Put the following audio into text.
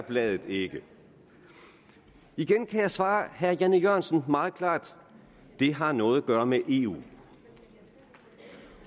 bladet ikke igen kan jeg svare herre jan e jørgensen meget klart det har noget at gøre med eu